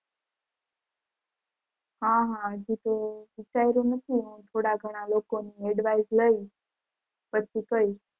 હાં હાં હજી તો વિચાર્યું નથી થોડા ઘણા લોકોની advice લઇ પછી કઇશ.